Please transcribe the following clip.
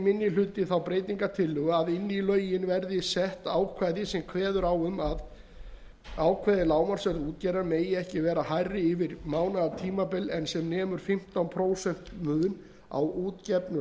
minni hluti þá tillögu að inn í lögin verði sett ákvæði sem kveður á um að ákveðið lágmarksverð útgerðar megi ekki vera hærra yfir mánaðartímabil en nemur fimmtán prósent mun á útgefnu lágmarksverði